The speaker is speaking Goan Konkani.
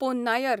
पोन्नायर